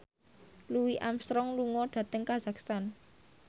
Louis Armstrong lunga dhateng kazakhstan